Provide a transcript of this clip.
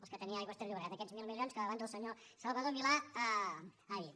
els que tenia aigües ter llobregat aquests mil milions que abans el senyor salvador milà ha dit